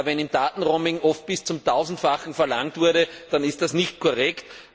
Wenn im Datenroaming oft bis zum Tausendfachen mehr verlangt wurde, dann ist das nicht korrekt.